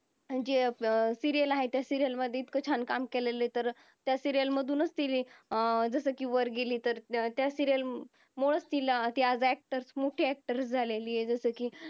जे अं दिलेल्या आहे त्या serial मध्ये इतकं छान काम केलेली तर त्या serial मधूनच तीने कि जस वर गेलीतर त्या serial मुळेच तिला actor झालेली आहे जस कि